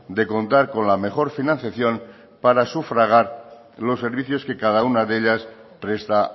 de contar con la mejor financiación para sufragar los servicios que cada una de ellas presta